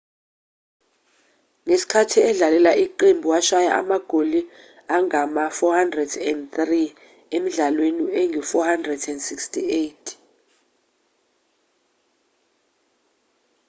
ngesikhathi edlalela iqembu washaya amagoli angama-403 emidlalweni engu-468